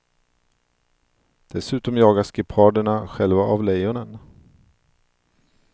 Dessutom jagas geparderna själva av lejonen.